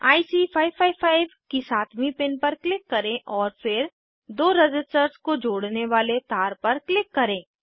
IC 555 की सातवीं pin पर क्लिक करें और फिर दो रज़िस्टर्स को जोड़ने वाले तार पर क्लिक करें